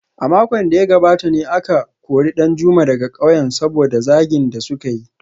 A makon da ya gabata ne aka kori Danjuma daga kauyen saboda zagin da suka yi